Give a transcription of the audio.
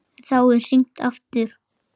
En þá er hringt aftur.